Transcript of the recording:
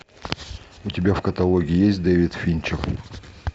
у тебя в каталоге есть дэвид финчер